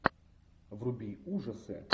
вруби ужасы